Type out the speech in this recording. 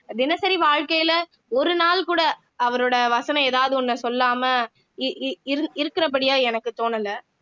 தினசரி வாழ்க்கையில ஒரு நாள் கூட அவரோட வசனம் எதாவது ஒண்ணை சொல்லாம இ இ இருக்கிறபடியா எனக்கு தோணல